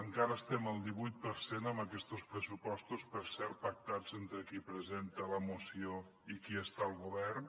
encara estem al divuit per cent amb aquestos pressupostos per cert pactats entre qui presenta la moció i qui està al govern